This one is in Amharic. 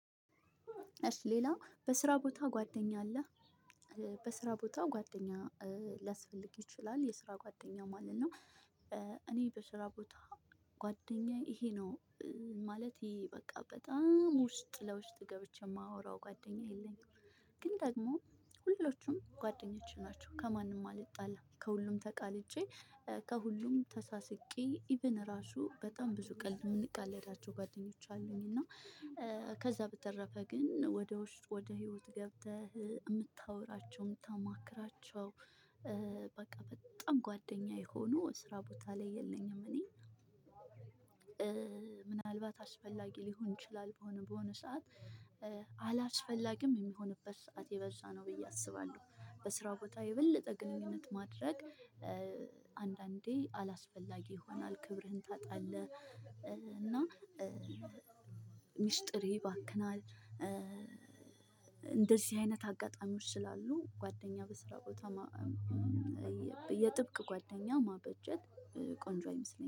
እሽ ሌላ በስራ ቦታ ጓደኛ አለህ? በስራ ቦታ ጓደኛ ሊያስፈልግ ይችላል የስራ ጓደኛ ማለት ነው። እኔ በስራ ቦታ ጓደኛዬ ይሄ ነው። ማለት ይሄ በቃ በጣም ውስጥ ለውስጥ ገብቼ የማወራው ጓደኛ የለኝም። ግን ደግሞ ሁሉቹም ጓደኞቼ ናቸው ከማንም አልጣላም ከሁሉም ተቃጄ። ከሁሉም ተሳስቄ ኢቭን ራሱ በጣም ብዙ ቀልድ የምንቀለዳቸው ጓደኞች አሉኝ እና። ከዛ በተረፈ ግን ወደ ውስጥ ወደ ህይወት ገብተህ የምታወራቸውን የምታማክራቸው። በቃ በጣም ጓደኛ የሆኑ ስራ ቦታ ላይ የለኝም። እኔ ምናልባት አስፈላጊ ሊሆን ይችላል በሆነ በሆነ ሰዓት አላስፈላጊም የሚሆንበት ሰዓት የበዛ ነው ብዬ አስባለሁ። በስራ ቦታ የበለጠ ግንኙነት ማድረግ። አንዳንዴ አላስፈላጊ ይሆናል ክብርህን ታጣለህ። እና ሚስጥር ይባክናል። እንደዚህ አይነት አጋጣሚዎች ስላሉ ጓደኛ በስራ ቦታ። የጥብቅ ጓደኛ ማበጀት ቆንጆ አይመስለኝም